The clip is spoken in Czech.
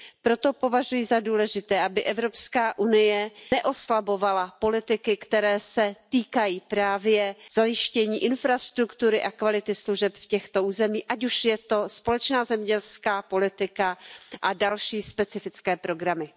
Proto považuji za důležité, aby Evropská unie neoslabovala politiky, které se týkají právě zajištění infrastruktury a kvality služeb v těchto územích, ať už je to společná zemědělská politika a další specifické programy.